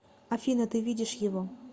афина ты видишь его